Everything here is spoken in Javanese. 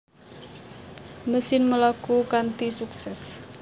Mesin mlaku kanthi suksès